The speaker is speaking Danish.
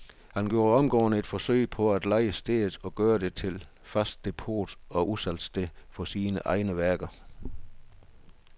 Han gjorde omgående et forsøg på at leje stedet og gøre det til fast depot og udsalgssted for sine egne værker.